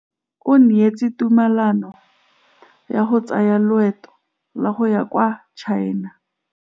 O neetswe tumalanô ya go tsaya loetô la go ya kwa China.